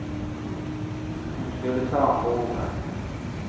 Hun skulle ta ham på ordet.